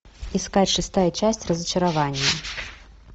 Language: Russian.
искать шестая часть разочарование